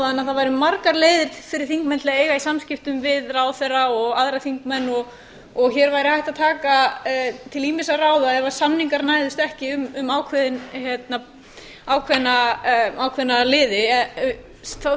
það væru margar leiðir fyrir þingmenn til að eiga í samskiptum við ráðherra og aðra þingmenn og hér væri hægt að taka til ýmissa ráða ef samningar næðust ekki um ákveðna liði þá samt spyr ég mig ég er með spurningu inniliggjandi um